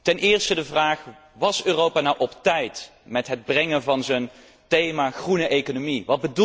Ten eerste de vraag was Europa nou op tijd met het brengen van zijn thema groene economie?